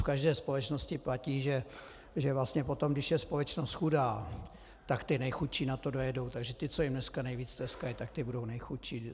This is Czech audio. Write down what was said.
V každé společnosti platí, že vlastně potom, když je společnost chudá, tak ti nejchudší na to dojedou, takže ti, co jim dneska nejvíce tleskají, tak ti budou nejchudší.